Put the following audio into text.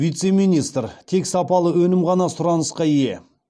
вице министр тек сапалы өнім ғана сұранысқа ие